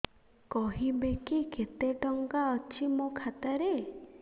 କହିବେକି କେତେ ଟଙ୍କା ଅଛି ମୋ ଖାତା ରେ